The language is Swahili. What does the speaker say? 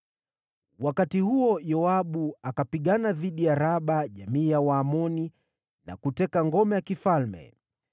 Wakati huo Yoabu akapigana dhidi ya Raba jamii ya Waamoni na kuteka ngome la kifalme.